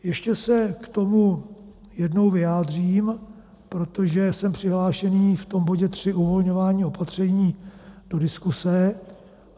Ještě se k tomu jednou vyjádřím, protože jsem přihlášený v tom bodě 3, uvolňování opatření, do diskuze.